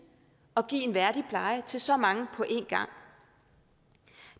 at give en værdig pleje til så mange på en gang